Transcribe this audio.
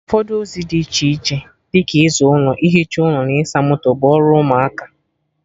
Ụfọdụ ozi dị iche iche dị ka ịza ụlọ, ihicha ụlọ na ịsa moto, bụ ọrụ ụmụaka